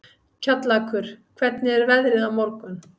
Kjallakur, hvernig er veðrið á morgun?